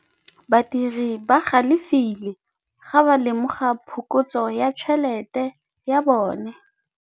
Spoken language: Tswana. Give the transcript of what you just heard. Badiri ba galefile fa ba lemoga phokotsô ya tšhelête ya bone.